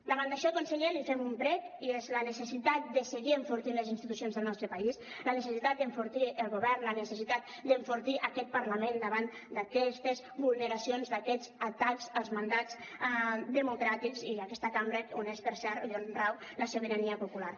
davant d’això conseller li fem un prec i és la necessitat de seguir enfortint les institucions del nostre país la necessitat d’enfortir el govern la necessitat d’enfortir aquest parlament davant d’aquestes vulneracions d’aquests atacs als mandats democràtics i aquesta cambra on és per cert i on rau la sobirania popular